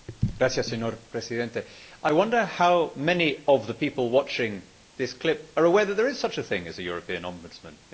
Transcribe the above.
Mr President, I wonder how many of the people watching this clip are aware that there is such a thing as a European Obudsman?